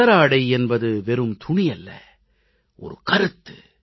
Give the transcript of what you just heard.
கதராடை என்பது வெறும் துணியல்ல கருத்து